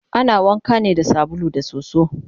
ana wanka ne da sabulu da soso